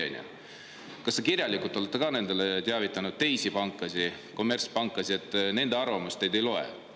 Kas te olete ka kirjalikult teavitanud teisi panku, kommertspanku, et nende arvamus teile ei loe?